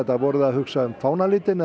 voruð þið að hugsa um fánalitina